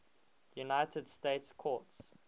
united states courts